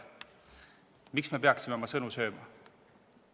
Miks me peaksime oma sõnu sööma?